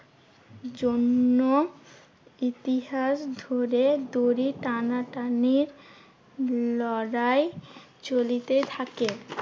জন্য ইতিহাস ধরে দড়ি টানাটানির লড়াই চলিতে থাকে।